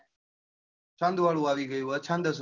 છંદ અવળું આવી ગયું અછંદ.